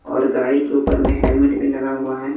और गाड़ी के ऊपर में हेलमेट भी लगा हुआ है।